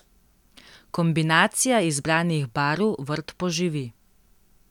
Kombinacija izbranih barv vrt poživi.